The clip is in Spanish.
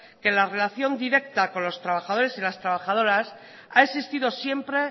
que la relación directa con los trabajadores y las trabajadoras ha existido siempre